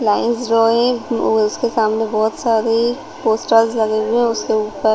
lines draw है और उसके सामने बहोत सारी पोस्टर्स लगे हुए उसके ऊपर--